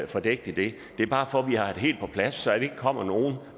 fordækt i det det er bare for at vi har det helt på plads så der ikke kommer nogen